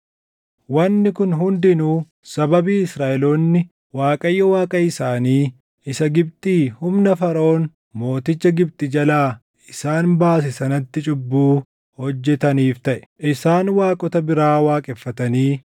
Wanni kun hundinuu sababii Israaʼeloonni Waaqayyo Waaqa isaanii isa Gibxii humna Faraʼoon mooticha Gibxi jalaa isaan baase sanatti cubbuu hojjetaniif taʼe; isaan waaqota biraa waaqeffatanii